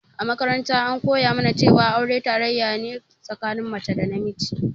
A makaranta an koya mana cewa aure tarayya ne tsakanin mace da namiji